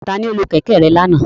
Tani o lo kẹ̀kẹ́ rẹ lana?